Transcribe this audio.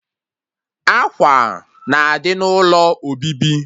Ákwà na-adị n'ụlọ obibi